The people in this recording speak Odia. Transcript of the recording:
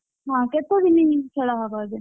ହଁ କେତେଦିନି ଖେଳ ହବ ଏବେ?